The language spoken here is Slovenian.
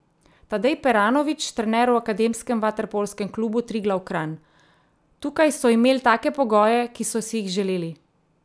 Tadej Peranovič, trener v akademskem vaterpolskem klubu Triglav Kranj: "Tukaj so imel take pogoje, ki so si jih želeli.